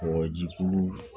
Mɔgɔ ji kolu